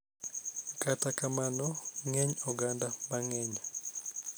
Kata kamano, ng�eny oganda mang�eny .